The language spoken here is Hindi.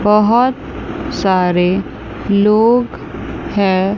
बहुत सारे लोग है।